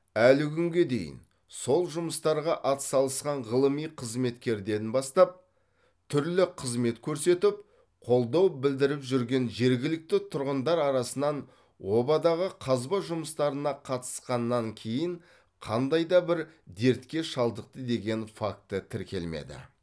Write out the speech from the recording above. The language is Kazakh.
әлі күнге дейін сол жұмыстарға атсалысқан ғылыми қызметкерден бастап түрлі қызмет көрсетіп қолдау білідіріп жүрген жергілікті тұрғындар арасынан обадағы қазба жұмыстарына қатысқаннан кейін қандай да бір дертке шалдықты деген факті тіркелмеді